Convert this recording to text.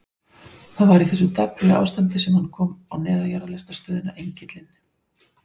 Það var í þessu dapurlega ástandi sem hann kom á neðanjarðarlestarstöðina Engilinn.